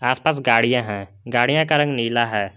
आसपास गाड़ियां हैं गाडियां का रंग नीला है।